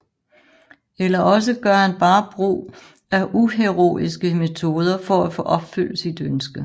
Eller også gør han bare brug af uheroiske metoder for at få opfyldt sit ønske